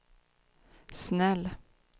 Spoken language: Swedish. snäll